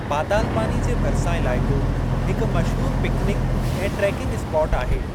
पतालपानी जे भरिसां इलाइक़ो हिकु मशहूरु पिकनिक ऐं ट्रेकिंग स्पाट आहे।